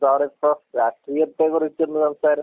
എന്താണിപ്പോ രാഷ്ട്രീയത്തെ കുറിച്ചുള്ള സംസാരം?